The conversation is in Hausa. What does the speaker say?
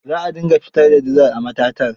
Za a dinga fitar da dizal a matatar.